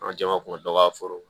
An ka jama kun ka dɔgɔ a foro kɔnɔ